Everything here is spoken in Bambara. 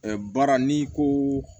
baara n'i ko